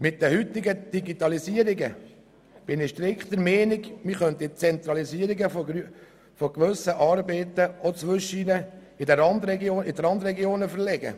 Angesichts der heutigen Digitalisierung bin ich strikt der Meinung, man könnte die Zentralisierung gewisser Arbeiten auch in die Randregionen verlegen.